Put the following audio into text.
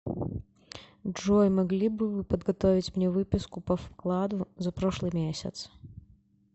джой могли бы вы подготовить мне выписку по вкладу за прошлый месяц